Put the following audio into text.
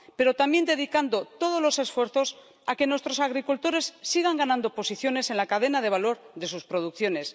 Pero también dedicando todos los esfuerzos a que nuestros agricultores sigan ganando posiciones en la cadena de valor de sus producciones.